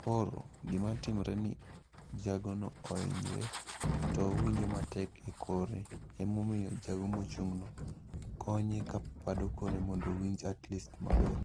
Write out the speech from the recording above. Koro gima timore ni jagono ohinyre to owinjo matek e kore, emomiyo jago mochung'no konye ka pado kore mondo owinj at least maber.